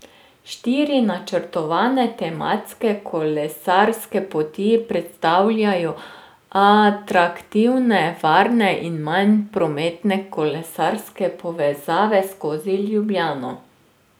Štiri načrtovane tematske kolesarske poti predstavljajo atraktivne, varne in manj prometne kolesarske povezave skozi Ljubljano.